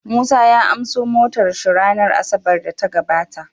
Musa ya anso motar shi ranar asabar da ta gabata